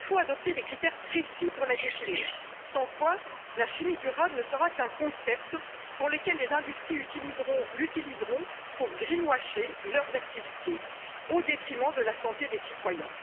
Il faut adopter des critères précis pour la définir, sans quoi la chimie durable ne sera qu'un concept que les industries utiliseront pour greenwasher leurs activités, au détriment de la santé des citoyens.